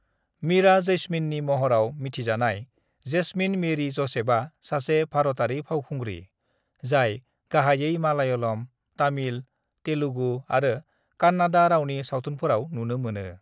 "मीरा जैस्मीननि महराव मिथिजानाय जेसमिन मेरि जसेफआ सासे भारतारि फावखुंग्रि, जाय गाहायै मलायालम, तामिल, तेलुगु आरो कन्नाड़ा रावनि सावथुनफोराव नुनो मोनो।"